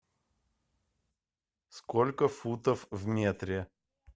сколько футов в метре